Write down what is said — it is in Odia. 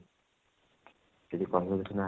ଯଦି କହିବ ଆ